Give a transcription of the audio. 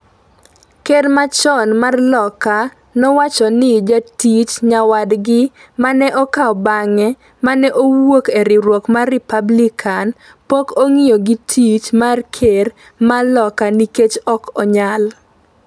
ker machon mar Loka nowacho ni jatich nyawadgi ma ne okawo bang’e, ma ne owuok e riwruok mar Republican, "pok ong'iyo gi tich mar ker mar loka nikech ok onyal.”